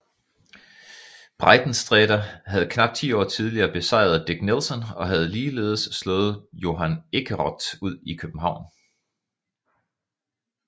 Breitensträter havde knap ti år tidligere besejret Dick Nelson og havde ligeledes slået Johan Ekeroth ud i København